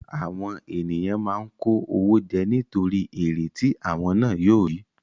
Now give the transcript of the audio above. Àwọn ènìyàn máa ń kó owó jẹ nítorí èrè tí àwọn ná yóò rí.